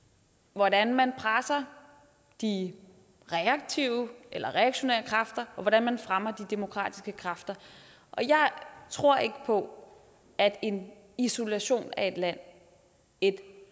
hvordan man presser de reaktive eller reaktionære kræfter og hvordan man fremmer de demokratiske kræfter jeg tror ikke på at en isolation af et land et